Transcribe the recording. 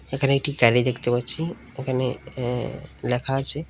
এখানে একটি গেরি দেখতে পাচ্ছি এখানে অ্যা লেখা আছে--